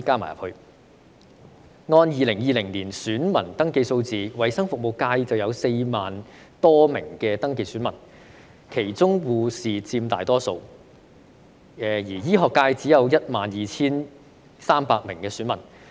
按照2020年選民登記數字，衞生服務界有 40,000 多名登記選民，其中護士佔大多數，而醫學界只有 12,300 名選民。